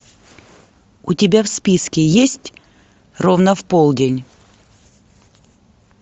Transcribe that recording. у тебя в списке есть ровно в полдень